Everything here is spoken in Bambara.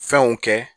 Fɛnw kɛ